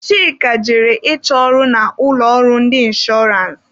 Chika jere ịchọ ọrụ na ụlọ ọrụ ndị inshọrance.